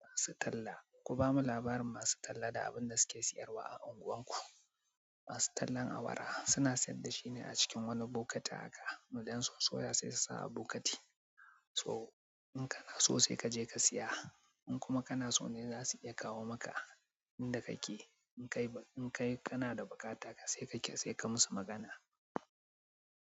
Masu talla. Ku bamu labarin masu talla da abin da suke siyarwa a unguwanku. Masu tallan awara suna sayar da shine a cikin wani bokati haka. Idan sun sosoya sai su sa a bokiti. So in kana so sai ka je ka siya. In kuma kana so ne za su iya kawo maka inda kake. In kai, in kai kana da buƙata sai ka, sai ka musu magana.